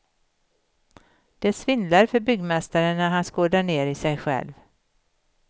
Det svindlar för byggmästaren när han skådar ner i sig själv.